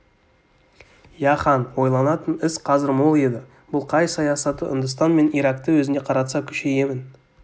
иә хан ойланатын іс қазір мол еді бұл қай саясаты үндістан мен иракты өзіне қаратса күшейемін